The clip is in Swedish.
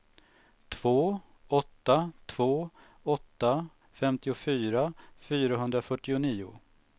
två åtta två åtta femtiofyra fyrahundrafyrtionio